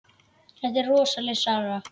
Þetta er rosaleg saga.